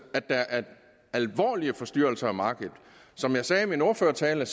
at der er alvorlige forstyrrelser af markedet som jeg sagde i min ordførertale